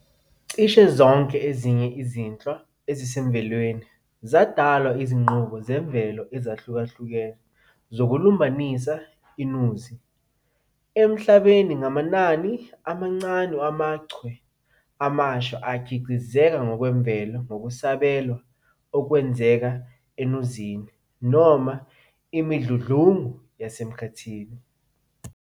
Cishe zonke ezinye izinhlwa ezisemvelweni zadalwa izinqubo zemvelo ezihlukahlukene zokulumbanisa iNuzi. Emhlabeni, ngamanani amancane wamaChwe amasha akhiqizeka ngokwemvelo ngokusabela okwenzeka enuzini, noma imidludlungu yasemkhathini.